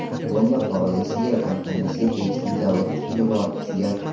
Bomba Faurecia kompaniyasiga tegishli zavod ustiga borib tushgan.